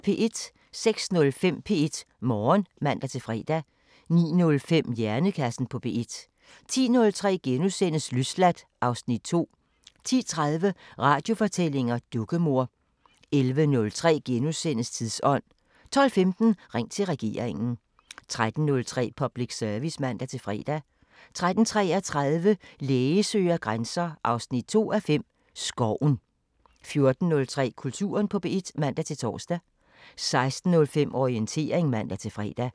06:05: P1 Morgen (man-fre) 09:05: Hjernekassen på P1 10:03: Løsladt (Afs. 2)* 10:30: Radiofortællinger: Dukkemor 11:03: Tidsånd * 12:15: Ring til regeringen 13:03: Public Service (man-fre) 13:33: Læge søger grænser 2:5 – Skoven 14:03: Kulturen på P1 (man-tor) 16:05: Orientering (man-fre)